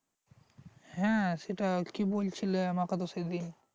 হ্যাঁ সেটা কী বলছিলে আমাকে তো সেদিন